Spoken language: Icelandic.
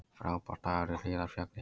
Frábær dagur í Hlíðarfjalli